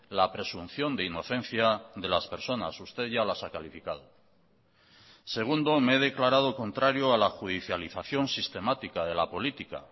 la presunción de inocencia de las personas usted ya las ha calificado segundo me he declarado contrario a la judicialización sistemática de la política